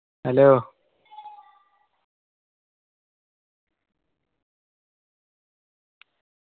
hello